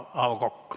Hea juhataja!